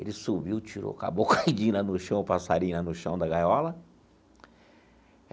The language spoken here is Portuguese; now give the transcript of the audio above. Ele subiu, tirou o Caboclo caidinho lá no chão, o passarinho lá no chão da gaiola.